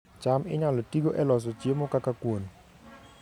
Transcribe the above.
cham inyalo tigo e loso chiemo kaka kuon